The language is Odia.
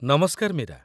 ନମସ୍କାର, ମୀରା